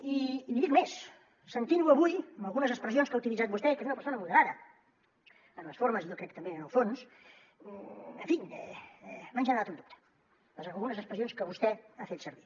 i li dic més sentint lo avui amb algunes expressions que ha utilitzat vostè que és una persona moderada en les formes i jo crec que també en el fons en fi m’han generat un dubte algunes expressions que vostè ha fet servir